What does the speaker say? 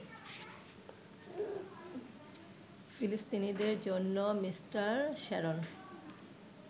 ফিলিস্তিনিদের জন্য mister Sharon